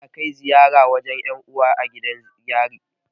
Ana kai ziyara wajan 'yan uwa a gidan yari.